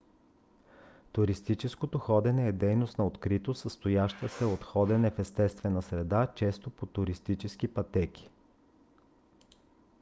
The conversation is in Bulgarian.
туристическото ходене е дейност на открито състояща се от ходене в естествена среда често по туристически пътеки